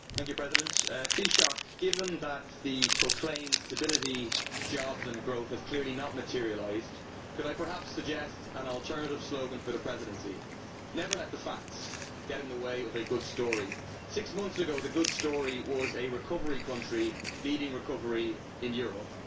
Mr President, I would like to say to the Taoiseach given that the proclaimed stability, jobs and growth have clearly not materialised, could I perhaps suggest an alternative slogan for the Presidency Never let the facts get in the way of a good story'. Six months ago, the good story was a recovery country leading recovery in Europe.